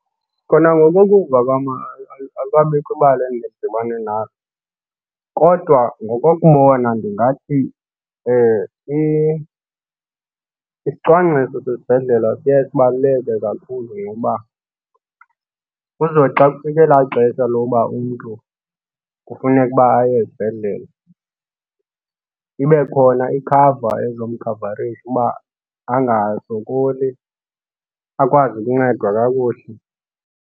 Khona ngokokuva kwam alikabikho ibali endidibane nalo kodwa ngokokubona ndingathi isicwangciso sesibhedlele siye sibaluleke kakhulu ngoba kuzothi xa kufike elaa xesha lokuba umntu kufuneka uba aye ezibhedlele ibe khona ikhava ezomkhavarisha uba angasokoli, akwazi ukuncedwa kakuhle.